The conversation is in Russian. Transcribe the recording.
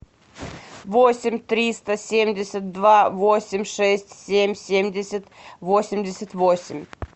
восемь триста семьдесят два восемь шесть семь семьдесят восемьдесят восемь